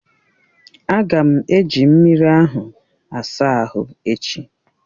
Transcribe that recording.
A ga m eji mmiri ahụ asa ahụ echi.